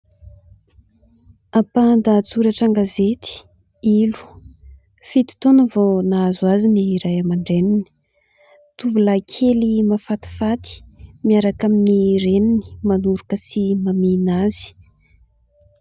Ampahan-dahatsoratra an-gazety :" Ilo... fito taona vao nahazo azy ny ray aman-dreniny ". Tovolahy kely mahafatifaty, miaraka amin'ny reniny manoroka sy mamihina azy.